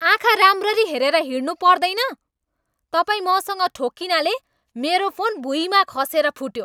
आँखा राम्ररी हेरेर हिँड्नुपर्दैन? तपाईँ मसँग ठोक्किनाले मेरो फोन भुइँमा खसेर फुट्यो।